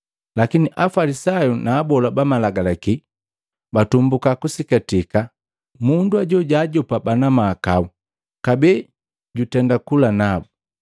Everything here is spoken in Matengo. Lakini Afalisayu na abola ba Malagalaki batumbuka kusikatika, “Mundu ajo, jaajopa bana mahakau, kabee jutenda kula nabu.”